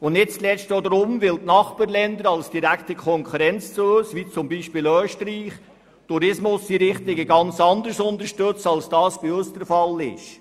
Nicht zuletzt die direkte Konkurrenz von Nachbarländern wie beispielsweise Österreich, das den Tourismus ganz anders unterstützt als die Schweiz das tut.